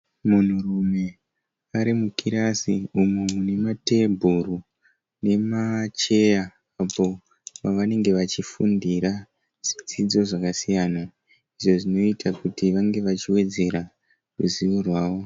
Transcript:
Munhu rume arimukirasi, umumunematebhuru nemasheya mavanenge vachifundira zvidzidzo zvakasiya izvozvinoita kuti vavevachiwedzere ruzivo rwavo.